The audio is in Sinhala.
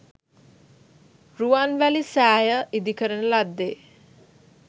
රුවන්වැලි සෑය ඉදිකරන ලද්දේ